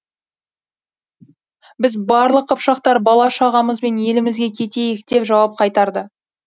біз барлық қыпшақтар бала шағамызбен елімізге кетейік деп жауап қайтарды